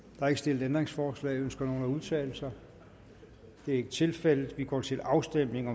er ikke stillet ændringsforslag ønsker nogen at udtale sig det er ikke tilfældet vi går til afstemning